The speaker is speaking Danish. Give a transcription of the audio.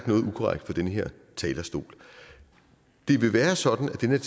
noget ukorrekt fra den her talerstol det vil være sådan at den